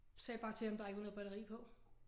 Sagde bare til ham der ikke var noget batteri på